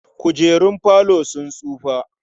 Kujerun falo sun tsufa.